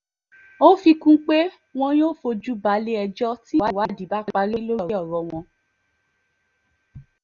ó fi kún un pé wọn yóò fojú balẹ̀-ẹjọ́ tí ìwádìí bá parí lórí ọ̀rọ̀ wọn